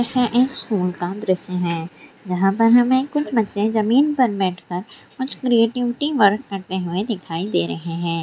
School का दृशय है जहाँ पर हमे कुछ बच्चे जमीन पर बैठ कर कुछ क्रिएटिविटी वर्क करते हुए दिखाई दे रहे है।